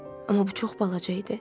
Amma bu çox balaca idi.